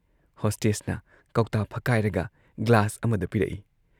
ꯍꯣꯁꯇꯦꯁꯅ ꯀꯧꯇꯥ ꯐꯛꯀꯥꯏꯔꯒ ꯒ꯭ꯂꯥꯁ ꯑꯃꯗ ꯄꯤꯔꯛꯏ ꯫